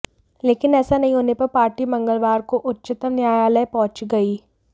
लेकिन ऐसा नहीं होने पर पार्टी मंगलवार को उच्चतम न्यायालय पहुंच गयी